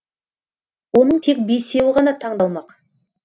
оның тек бесеуі ғана таңдалмақ